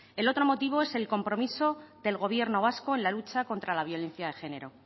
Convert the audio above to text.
el otro motivo es el compromiso del gobierno vasco en la lucha contra la violencia de género